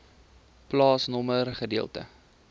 plaasnommer gedeelte